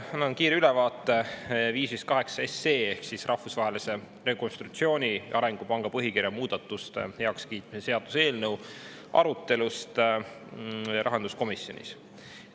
Annan kiire ülevaate 558 SE ehk Rahvusvahelise Rekonstruktsiooni- ja Arengupanga põhikirja muudatuste heakskiitmise seaduse eelnõu arutelust rahanduskomisjonis.